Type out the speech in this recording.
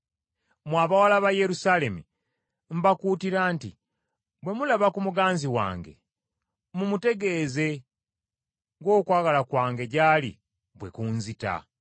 Mmwe abawala ba Yerusaalemi, mbakuutira nti bwe mulaba ku muganzi wange, mumutegeeze ng’okwagala kwange gy’ali bwe kunzita.